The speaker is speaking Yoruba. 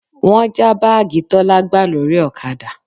Wọ́n já báàgì Tọ́lá gbà lórí ọ̀kadà